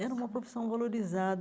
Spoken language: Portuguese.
Era uma profissão valorizada.